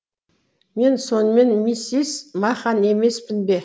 мен сонымен миссис махан емеспін бе